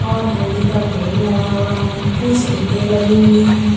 और हल्दी का पेड़ लगा हुआ है कुछ ईंटें लगी हुई हैं।